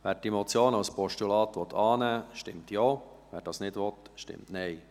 Wer diese Motion als Postulat annehmen will, stimmt Ja, wer das nicht will, stimmt Nein.